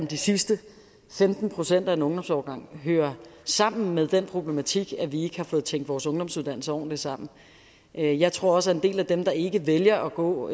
de sidste femten procent af en ungdomsårgang hører sammen med den problematik at vi ikke har fået tænkt vores ungdomsuddannelser ordentligt sammen jeg jeg tror også at en del af dem der ikke vælger at gå